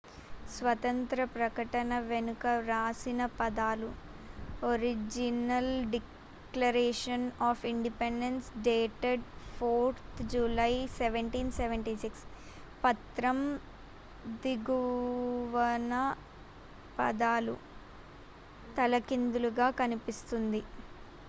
"స్వాతంత్య్ర ప్రకటన వెనుక వ్రాసిన పదాలు "original declaration of independence dated 4th July 1776"". పత్రం దిగువన పదాలు తలక్రిందులుగా కనిపిస్తుంది.